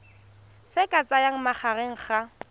se ka tsayang magareng ga